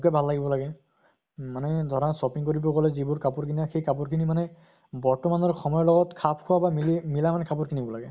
মোকে ভাল লাগিব লাগে। মানে ধৰা shopping কৰিব গলে যিবোৰ কাপোৰ কিনা সেই কাপোৰ খিনি মানে বৰ্তমানৰ সময়ৰ লগত খাপ খোৱা বা মিলি মিলা মানে কাপোৰ কিনিব লাগে